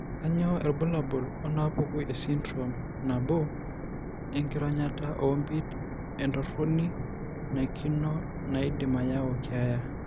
Kainyio irbulabul onaapuku esindirom nabo enkironyata oompit entoroni naikino naidim ayau keeya?